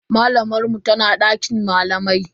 Malamar mu tana dakin malamai.